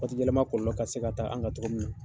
Waati yɛlɛma kɔlɔlɔ ka se ka ta an ka togo min na.